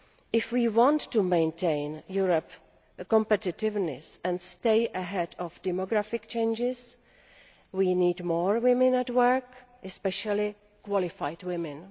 If we want to maintain Europe's competitiveness and stay ahead of demographic changes, we need more women at work, especially qualified women.